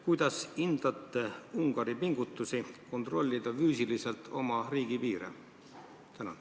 Kuidas te hindate Ungari pingutusi kontrollida füüsiliselt oma riigipiire?